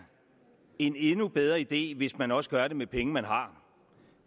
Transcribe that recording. en endnu bedre idé hvis man også gør det med penge man har